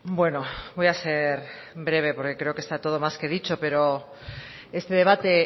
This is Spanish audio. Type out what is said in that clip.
bueno voy a ser breve porque creo está todo más que dicho pero este debate